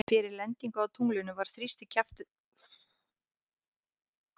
Fyrir lendingu á tunglinu var þrýstikrafturinn frá eldflauginni langt frá fullum styrk.